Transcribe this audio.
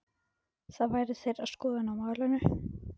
Það væri þeirra skoðun á málinu?